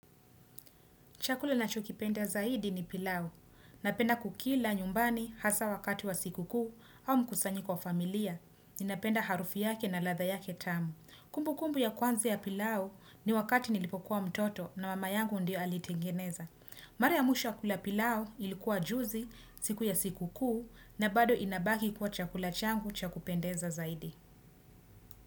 Chakula nachokipenda zaidi ni pilau. Napenda kukila nyumbani hasaa wakati wa sikukuu au mkusanyiko kwa familia. Ninapenda harufu yake na ladha yake tamu. Kumbukumbu ya kwanza ya pilau, ni wakati nilipokuwa mtoto na mama yangu ndiye aliyetengeneza. Mara ya mwisho ya kula pilau ilikuwa juzi, siku ya sikukuu na bado inabaki kuwa chakula changu cha kupendeza zaidi.